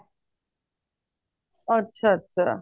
ਅੱਛਾ ਅੱਛਾ